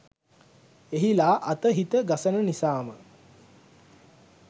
එහිලා අත හිත ගසන නිසාම